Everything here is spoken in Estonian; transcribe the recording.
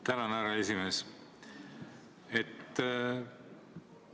Tänan, härra juhataja!